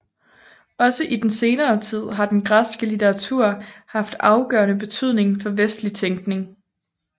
Også i senere tid har den græske litteratur haft afgørende betydning for vestlig tænkning